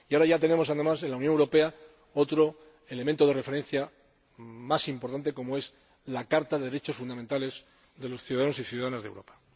Y ahora tenemos además en la Unión Europea otro elemento de referencia más importante aún, como es la Carta de Derechos Fundamentales de los ciudadanos y ciudadanas de Europa.